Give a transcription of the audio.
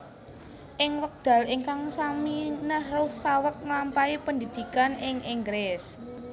Ing wekdal ingkang sami Nehru saweg nglampahi pendhidhikan ing Inggris